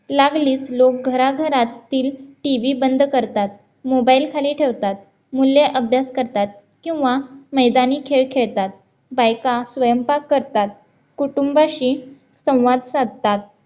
लागलीस लोक घराघरात TV बंद करतात, mobile खाली ठेवतात, मुले अभ्यास करतात किंवा मैदानी खेळ खेळतात, बायका स्वयंपाक करतात, कुटुंबाशी संवाद साधतात